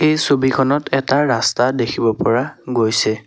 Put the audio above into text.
এই ছবিখনত এটা ৰাস্তা দেখিব পৰা গৈছে।